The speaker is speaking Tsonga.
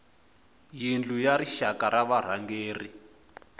yindlu ya rixaka ya varhangeri